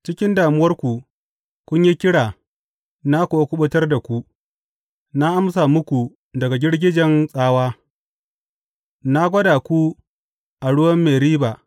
Cikin damuwarku kun yi kira na kuwa kuɓutar da ku, na amsa muku daga girgijen tsawa; na gwada ku a ruwan Meriba.